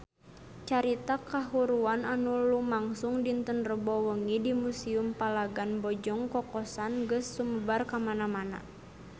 Carita kahuruan anu lumangsung dinten Rebo wengi di Museum Palagan Bojong Kokosan geus sumebar kamana-mana